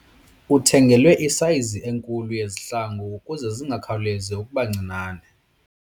Uthengelwe isayizi enkulu yezihlangu ukuze zingakhawulezi ukuba ncinane.